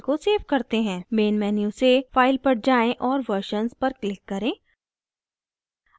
main menu से file पर जाएँ और versions पर click करें